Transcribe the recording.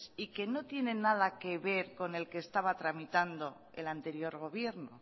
y que no tienen nada que ver con el que se estaba tramitando el anterior gobierno